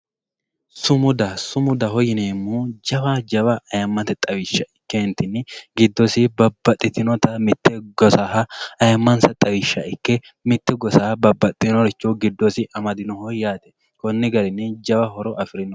Sumuda, sumudaho yineemohu jawa jawa ayyiimmatte xawisha ikke ka'ennitinni gidosiinni babaxitinotta mite gosaha ayyimansa xawisha ikke mite gossaha babaxiworicho gidosi amadinoho yaate koni garinino jawa horo afirino.